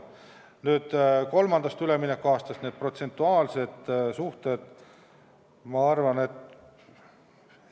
Millised on kolmandast üleminekuaastast need protsentuaalsed suhted?